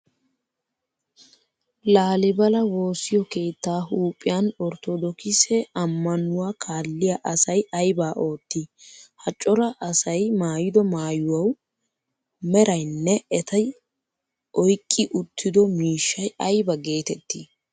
Laalibala woosiyo keettaa huuphiyan orttodookise ammanuwa kalliyaa asay aybaa oottii? Ha cora asyi maayido maayuwa merayinne eti oyqqi uttido miishshay ayba geettettii?